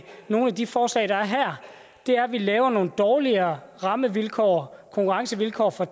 nogle af de forslag der er her er at vi laver nogle dårligere rammevilkår konkurrencevilkår for